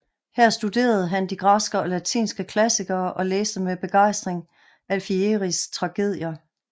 Her studerede han de græske og latinske klassikere og læste med begejstring Alfieris tragedier